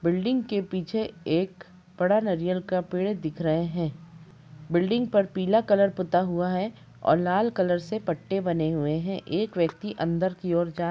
building के पीछे एक बड़ा नारियल का पेड़ दिख रहे है बिल्डिंग पर पीला कलर पुता हुआ है और लाल कलर से पट्टे बने हुए है एक व्यक्ति अंदर की ओर जा --